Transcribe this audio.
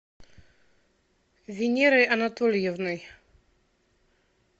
венерой анатольевной